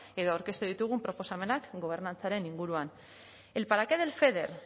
edo aurkeztu ditugun proposamenak gobernantzaren inguruan el para qué del feder